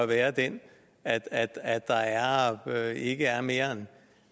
være den at at der ikke er mere